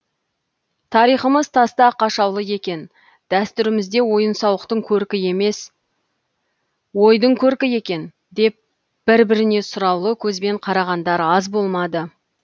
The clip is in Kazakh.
тарихымыз таста қашаулы екен дәстүрімізде ойын сауықтың көркі емес ойдың көркі екен деп бір біріне сұраулы көзбен қарағандар аз болмады